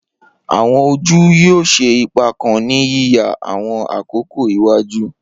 Awọn oju yoo ṣe ipa kan ni yiya awọn akoko iwaju.